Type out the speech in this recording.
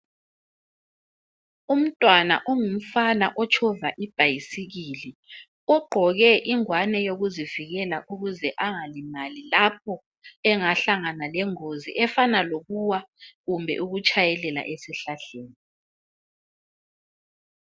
Umntwana ongumfana otshova ibhayisikili ugqoke ingwane yokuzivikela ukuze angalimali lapho engahlangana lengozi efana lokuwa kumbe ukutshayelela esihlahleni.